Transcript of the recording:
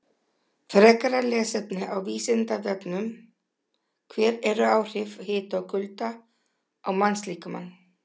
Frekara lesefni á Vísindavefnum: Hver eru áhrif hita og kulda á mannslíkamann?